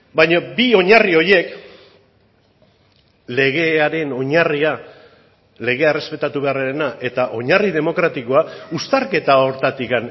baina bi oinarri horiek legearen oinarria legea errespetatu beharrarena eta oinarri demokratikoa uztarketa horretatik